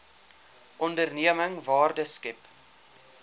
onderneming waarde skep